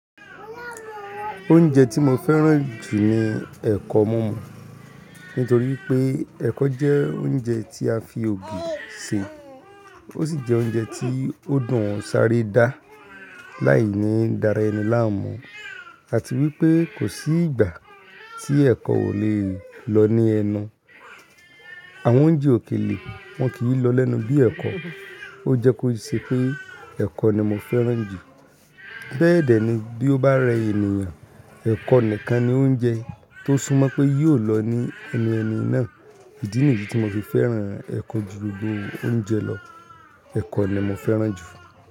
Oúnjẹ tí mo fẹ́ràn jù ni ẹ̀kọ mumu. Nítorí pé ẹ̀kọ jẹ́ oúnjẹ tí a fi ògì ṣe, ó sì jẹ́ oúnjẹ tí ó dùn sáré dá láì ní dára ẹni láàmú, àti wípé kò sí ìgbà tí ẹ̀kọ ò le lọ ní ẹ̀nu. Àwọn oúnjẹ òkèlè wọn kì í lọ lẹ́nu bíi ẹ̀kọ. Ó jẹ́ kó ṣe pé ẹ̀kọ ni mo fẹ́ràn jù. Be dẹ́ẹ̀ ni bí ó bá rẹ ènìyàn, ẹ̀kọ nìkan ni oúnjẹ tó súmọ́ pé yóò lọ ní ẹnu ẹni náà. Ìdí nìyí tí mo fi fẹ́ràn ẹ̀kọ ju gbogbo oúnjẹ lọ. Ẹ̀kọ ni mo fẹ́ràn jù.